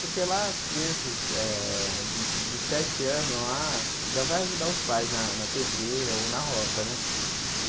Porque lá, as crianças eh dos sete anos lá já vão ajudar os pais na na pedreira ou na roça né.